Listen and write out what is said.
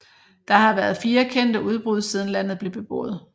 Der har været fire kendte udbrud siden landet blev beboet